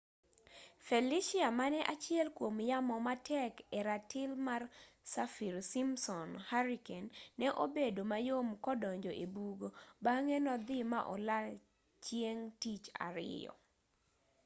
felicia mane achiel kuom yamo matek e ratil mar saffir simpson hurricane ne obedo mayom kodonjo ebugo bang'e nodhii ma olal chieng' tich ariyo